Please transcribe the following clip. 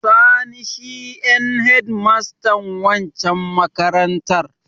Sani shi en hedmastan waccan makarantar.